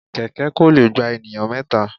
Kẹ̀kẹ́ kò lè gba ènìyàn mẹ́ta.